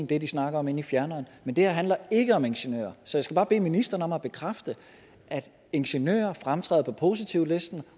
det de snakker om inde i fjerneren men det her handler ikke om ingeniører så jeg skal bare bede ministeren om at bekræfte at ingeniører fremtræder på positivlisten